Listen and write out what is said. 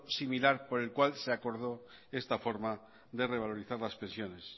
similar por el cual se acordó esta forma de revalorizar las pensiones